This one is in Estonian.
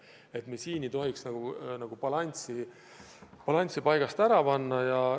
See balanss ei tohiks paigast ära minna.